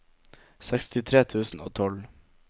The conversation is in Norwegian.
sekstitre tusen og tolv